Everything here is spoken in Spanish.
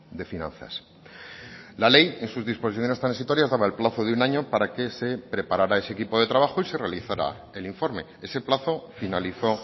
de finanzas la ley en sus disposiciones transitorias daba el plazo de un año para que se preparara ese equipo de trabajo y se realizara el informe ese plazo finalizó